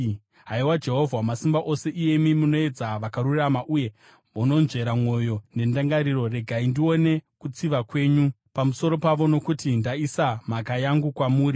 Haiwa Jehovha Wamasimba Ose, iyemi munoedza vakarurama uye munonzvera mwoyo nendangariro, regai ndione kutsiva kwenyu pamusoro pavo, nokuti ndaisa mhaka yangu kwamuri.